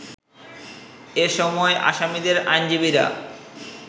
এ সময় আসামিদের আইনজীবীরা